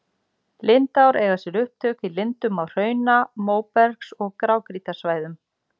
Lindár eiga sér upptök í lindum á hrauna-, móbergs- og grágrýtissvæðum.